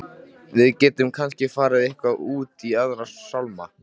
Við gætum kannski farið eitthvað út í Aðra sálma.